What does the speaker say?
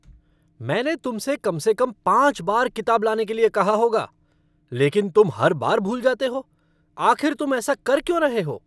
मैंने तुमसे कम से कम पाँच बार किताब लाने के लिए कहा होगा, लेकिन तुम हर बार भूल जाते हो, आखिर तुम ऐसा कर क्यों रहे हो?